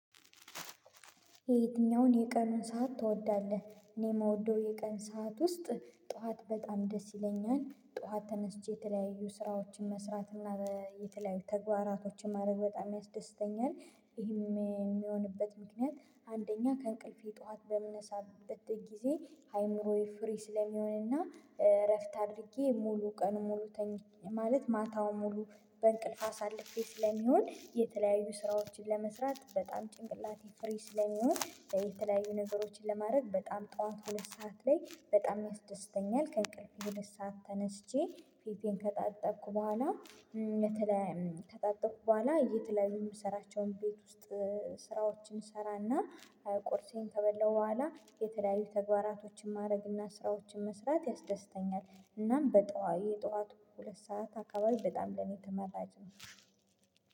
የየትኛውን የቀኑን ሰዓት ትወዳለህ? እኔ የምወደው የቀኑን ሰዓት ውስጥ ጥዋት በጣም ደስ ይለኛል ጥዋት ተነስቼ የተለያዩ ስራዎችን መስራት እና የተለያዩ ተግባራቶችን ማድረግ በጣም ያስደስተኛል። ይሄም የሚሆንበት ምክንያት አንደኛ ከእንቅልፌ ጠዋት በምነሳበት ጊዜ አይምሮዬ ፍሬ ስለሚሆንና እረፍት አድርጌ ሙሉ ቀን ሙሉ ተኝ ማለት ማታው ሙሉ በእንቅልፍ አሳልፌ ስለሚሆን የተለያዩ ስራዎችን ለመስራት በጣም ጭንቅላቴ ፍሪ ስለሚሆን የተለያዩ ነገሮችን ለማድረግ በጣም ጥዋት ሁለት ሰዓት ላይ በጣም ያስደስተኛል። ከእንቅልፍ ሁለት ሰዓት ተነስቼ ፊቴን ከታጠብኩ በኋላ። ከታጠቡኩ በኋላ የት? ላይ የምሰራቸውን ቤት ውስጥ ስራዎችን ስራና ቁርሴን ከበለው በኋላ የተለያዩ ተግባራቶችን ማድረግ እና ስራዎችን መስራት ያስደስተኛል። እናም የጥዋት ሁለት ሰዓት አካባቢ በጣም ለኔ ተመራጭ ነው።